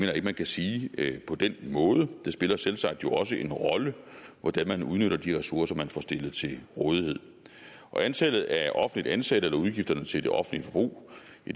jeg ikke man kan sige på den måde det spiller jo selvsagt også en rolle hvordan man udnytter de ressourcer man får stillet til rådighed og antallet af offentligt ansatte eller udgifterne til det offentlige forbrug